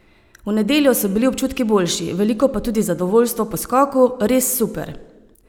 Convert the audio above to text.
V nedeljo so bili občutki boljši, veliko pa tudi zadovoljstvo po skoku: "Res super.